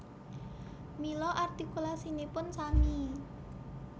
Mila artikulasinipun sami